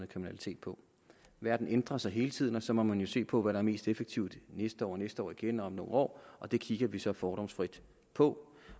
kriminalitet på verden ændrer sig hele tiden og så må man jo se på hvad der er mest effektivt næste år og næste år igen og om nogle år og det kigger vi så fordomsfrit på